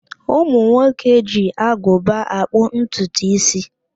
Ụmụ nwoke ji agụba akpụ ntutu ísí.